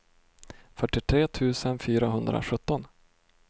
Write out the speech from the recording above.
fyrtiotre tusen fyrahundrasjutton